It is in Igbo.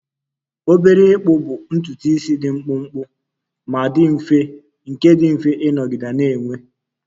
Obere ịkpụ bụ ntutu isi dị mkpụmkpụ ma dị mfe nke dị mfe ịnọgide na-enwe